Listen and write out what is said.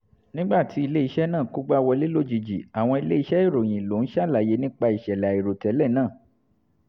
nígbà tí ilé-iṣẹ́ náà kógbá wọlé lójijì àwọn ilé-iṣẹ́ ìròyìn ló ń ṣàlàyé nípa ìṣẹ̀lẹ̀ àìròtẹ́lẹ̀ náà